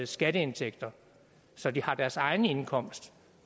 skatteindtægter så de har deres egen indkomst